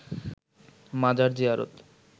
মাজার জিয়ারত